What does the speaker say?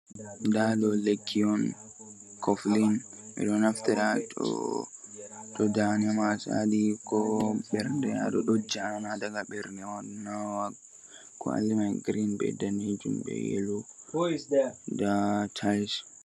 Nda ɗo lekki on koflin, ɓe ɗo naftira to dande ma saɗi, ko ɓerde ma ɗo ɗoja a nana daga ɓerde ma ɗo nawa, kwali man grin, ɓe ɗanejum, be yelo, nda tiles.